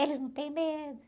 Eles não têm medo.